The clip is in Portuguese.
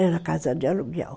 Era casa de aluguel.